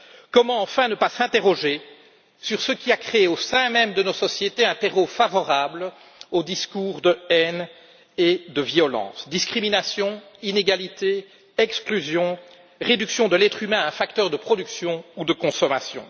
Comment, enfin, ne pas s'interroger sur ce qui a créé au sein même de nos sociétés un terreau favorable au discours de haine et de violence discriminations, inégalités, exclusion, réduction de l'être humain à un facteur de production ou de consommation?